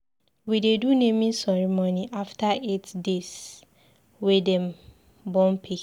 We dey do naming ceremony after eight deys wey dem born pikin.